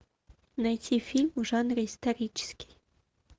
найти фильм в жанре исторический